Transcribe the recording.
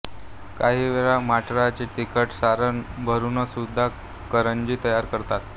काही वेळा मटारचे तिखट सारण भरूनसुद्धा करंजी तयार करतात